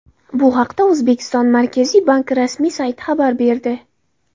Bu haqda O‘zbekiston Markaziy banki rasmiy sayti xabar berdi .